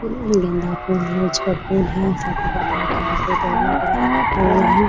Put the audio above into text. गेंदा फूल यूज़ करते हैं सभी प्रकार का रखा हुआ है ।